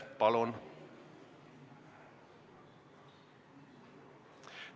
Palun!